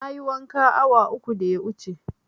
Na yi wanka awa uku da ya wuce